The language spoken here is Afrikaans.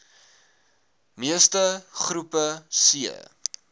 meeste groepe c